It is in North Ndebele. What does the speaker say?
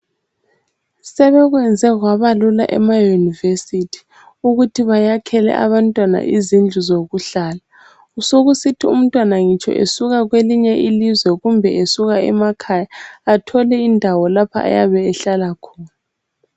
Sebekwenze kwabalula emayunivesithi ukuthi bayakhele abantwana izindlu zokuhlala. Sokusithi umntwana ngitsho esuka kwelinye ilizwe kumbe esuka emakhaya, athole indawo lapho ayabe ehlala khona.